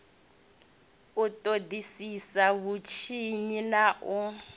u ṱoḓisisa vhutshinyi na u